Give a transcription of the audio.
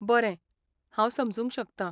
बरें, हांव समजूंक शकतां.